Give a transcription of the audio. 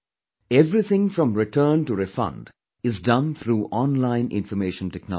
Everything from return to refund is done through online information technology